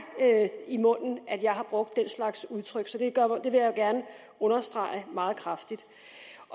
i munden at jeg har brugt den slags udtryk så det vil jeg gerne understrege meget kraftigt